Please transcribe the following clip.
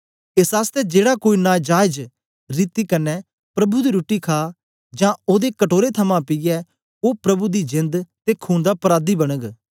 एस आसतै जेड़ा कोई नाजायज रीति कन्ने प्रभु दी रुट्टी खा जां ओदे कटोरे थमां पीऐ ओ प्रभु दी जेंद ते खून दा पराधी बनग